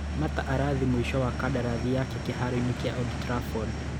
Mata arathiĩ mũico wa kandarathi yake kĩharoini kĩa Old Trafford.